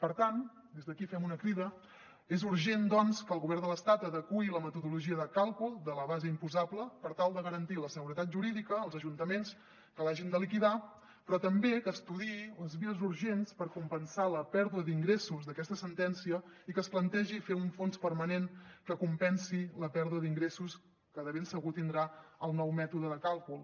per tant des d’aquí fem una crida és urgent doncs que el govern de l’estat adeqüi la metodologia de càlcul de la base imposable per tal de garantir la seguretat jurídica als ajuntaments que l’hagin de liquidar però també que estudiï les vies urgents per compensar la pèrdua d’ingressos d’aquesta sentència i que es plantegi fer un fons permanent que compensi la pèrdua d’ingressos que de ben segur tindrà el nou mètode de càlcul